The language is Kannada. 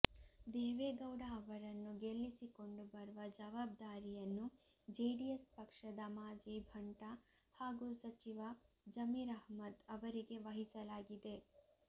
ದೇವೇಗೌಡ ಅವರನ್ನು ಗೆಲ್ಲಿಸಿಕೊಂಡು ಬರುವ ಜವಾಬ್ದಾರಿಯನ್ನು ಜೆಡಿಎಸ್ ಪಕ್ಷದ ಮಾಜಿ ಭಂಟ ಹಾಗೂ ಸಚಿವ ಜಮೀರ್ ಅಹ್ಮದ್ ಅವರಿಗೆ ವಹಿಸಲಾಗಿದೆ